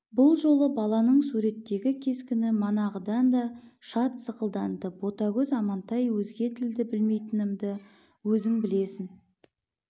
бұл жолы баланың суреттегі кескіні манағыдан да шат сықылданды ботагөз амантай өзге тілді білмейтінімді өзің білесің